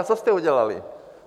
A co jste udělali?